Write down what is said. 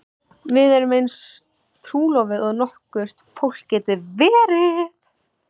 Við erum eins trúlofuð og nokkurt fólk getur verið.